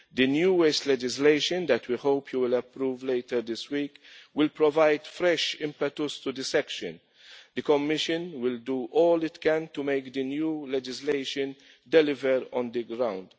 The new waste legislation that we hope you will approve later this week, will provide fresh impetus to this area. The Commission will do all it can to make the new legislation deliver on the ground.